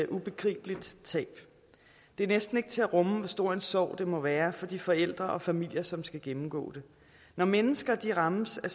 ubegribeligt tab det er næsten ikke til at rumme hvor stor en sorg det må være for de forældre og familier som skal gennemgå det når mennesker rammes af